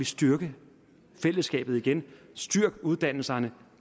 styrke fællesskabet igen styrk uddannelserne